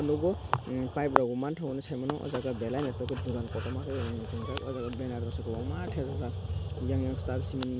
tongo pipe rok bo mantogo henui saimano aw jaaga belai noo toket dugan kotorma ke chumjak aw jaaga banner o kwbangma thepajak eiang siang star cement ni.